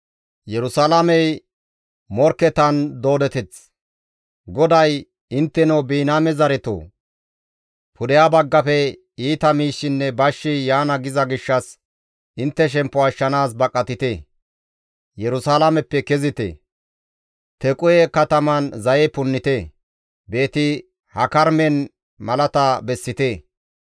GODAY, «Intteno Biniyaame zaretoo! Pudeha baggafe iita miishshinne bashshi yaana giza gishshas intte shemppo ashshanaas baqatite! Yerusalaameppe kezite! Tequhe kataman zaye punnite! Beeti-Hakarimen malata bessite!